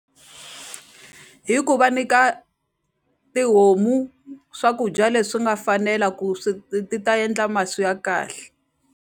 Hi ku va nyika tihomu swakudya leswi nga fanela ku swi ti ta endla masi ya kahle.